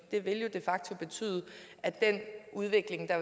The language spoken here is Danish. det vil jo de facto betyde at den udvikling der